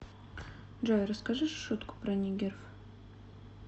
джой расскажи шутку про нигеров